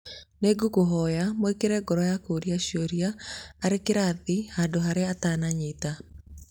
nĩ ngũkũhoya, mwĩkĩre ngoro ya kũria ciũria arĩ kĩrathi handũ harĩa atananyita